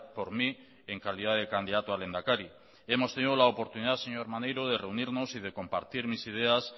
por mí en calidad de candidato a lehendakari hemos tenido la oportunidad señor maneiro de reunirnos y de compartir mis ideas